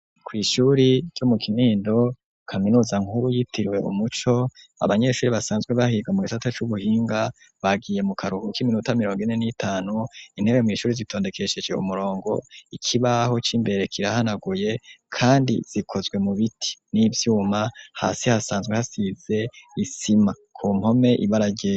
Kw'ishuri ryo mu kinindo kaminuza nkuru yitiriwe umuco abanyeshuri basanzwe bahirwa mu gitata c'ubuhinga bagiye mu karuhu k'iminuta mirongo ine n'itanu intewe mw'ishuri zitondekesheje umurongo ikibaho c'imbere kirahanaguye, kandi zikozwe mu biti n'ivyuma hasi hasanzwe hasize isi sima kumpome ibarajere.